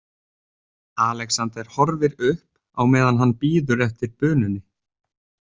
Alexander horfir upp á meðan hann bíður eftir bununni.